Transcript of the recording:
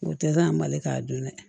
O tɛ gan mali ka dun dɛ